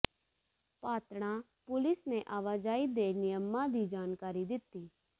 Patran police ਨੇ ਆਵਾਜਾਈ ਦੇ ਨਿਯਮਾਂ ਦੀ ਜਾਣਕਾਰੀ ਦਿੱਤੀ